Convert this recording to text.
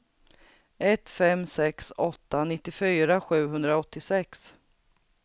ett fem sex åtta nittiofyra sjuhundraåttiosex